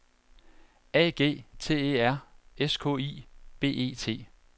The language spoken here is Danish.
A G T E R S K I B E T